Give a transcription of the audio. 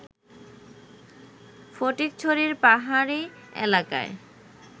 ফটিকছড়ির পাহাড়ি এলাকায়